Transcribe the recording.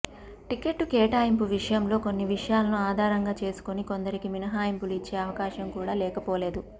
ticket కేటాయింపు విషయంలో కొన్ని విషయాలను ఆధారంగా చేసుకొని కొందరికి మినహయింపులు ఇచ్చే అవకాశం కూడ లేకపోలేదు